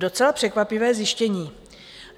Docela překvapivé zjištění.